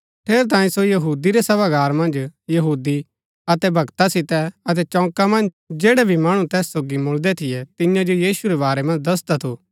ठेरैतांये सो यहूदी रै सभागार मन्ज यहूदी अतै भक्ता सितै अतै चौका मन्ज जैड़ै भी मणु तैस सोगी मुळदै थियै तियां जो यीशु रै बारै मन्ज दसदा थु